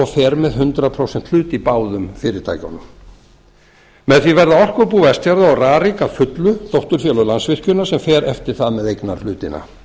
fer með hundrað prósent hlut í báðum fyrirtækjunum með því verða orkubú vestfjarða og rarik að fullu dótturfélög landsvirkjunar sem fer eftir það með eignarhlutina